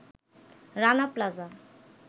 Rana plaza